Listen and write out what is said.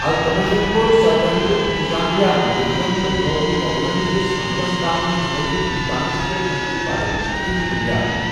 التمشَن کوٚر سلطنتٗك انتظامیہ مٗنظم، تہٕ تر٘ٲون مُو٘غلَن ہٕنٛدِ ہملَس تام شُمٲلی ہندوستانَس پٮ۪ٹھ أمِچہِ بالادستی ہنز بٗنیاد ۔